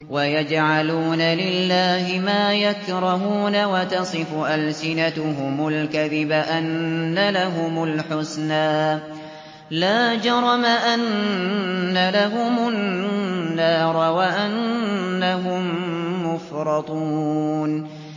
وَيَجْعَلُونَ لِلَّهِ مَا يَكْرَهُونَ وَتَصِفُ أَلْسِنَتُهُمُ الْكَذِبَ أَنَّ لَهُمُ الْحُسْنَىٰ ۖ لَا جَرَمَ أَنَّ لَهُمُ النَّارَ وَأَنَّهُم مُّفْرَطُونَ